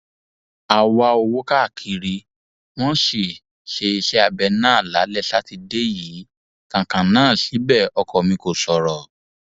a wá owó káàkiri wọn sì ṣe iṣẹabẹ náà lálẹ sátidé yìí kan kan náà síbẹ ọkọ mi kò sọrọ